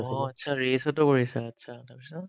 অ, achcha race ত কৰিছা achchaতাৰপিছত